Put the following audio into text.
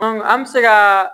an bɛ se ka